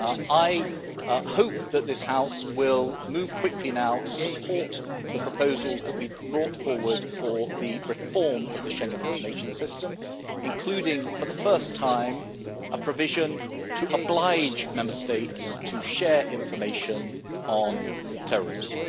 I hope that this House will move quickly now to support the proposals that we have brought forward for the reform of the Schengen Information System, including, for the first time, a provision to oblige Member States to share information on terrorism.